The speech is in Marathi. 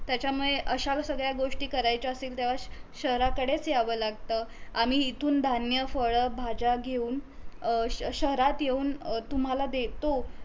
त्याच्यामुळे अश्या ज सगळ्या गोष्टी करायच्या असतील तेव्हा शहाराकडेच येव लागत आम्ही इथून धान्य, फळ, भाज्या घेऊन अ शहरात अ येऊन तुम्हाला देतो